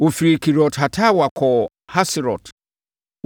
Wɔfirii Kibrot-Hataawa kɔɔ Haserot.